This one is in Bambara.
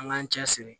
An k'an cɛ siri